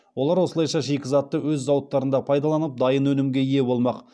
олар осылайша шикізатты өз зауыттарында пайдаланып дайын өнімге ие болмақ